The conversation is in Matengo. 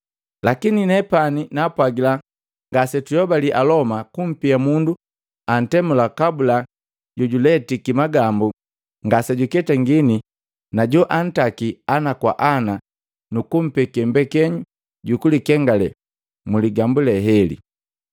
Lakini nepani naapwagila ngasetuyobali Aloma kumpia mundu antemula kabula jojuletiki magambu ngasejuketangini najoantaki ana kwa ana nukumpeke mbekenyu jukulikengale mu ligambu le hele.